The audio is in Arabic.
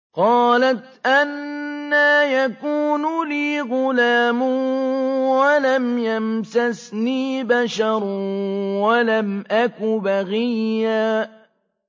قَالَتْ أَنَّىٰ يَكُونُ لِي غُلَامٌ وَلَمْ يَمْسَسْنِي بَشَرٌ وَلَمْ أَكُ بَغِيًّا